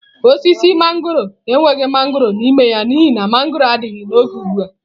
Osisi mangọrọ enweghị mangọrọ n'ime ya n'ihi na mangọrọ adịghị n'oge ugbu a.